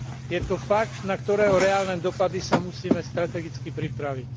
Je to fakt, na ktorého reálne dopady sa musíme strategicky pripraviť.